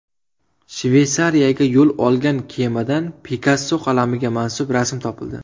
Shveysariyaga yo‘l olgan kemadan Pikasso qalamiga mansub rasm topildi .